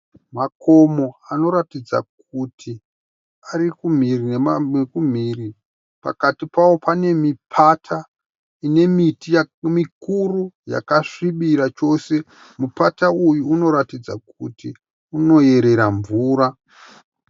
Makomo anotaridza miti arikumhiri nekumhiri pakati pawo pane mipata ine miti mikuru yakasvibirira chose. Mupati uyu unoratidza kuti unoyerera mvura.